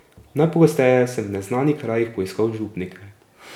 Najpogosteje sem v neznanih krajih poiskal župnike.